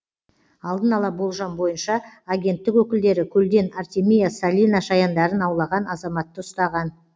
алдын ала болжам бойынша агенттік өкілдері көлден артемия салина шаяндарын аулаған азаматты ұстаған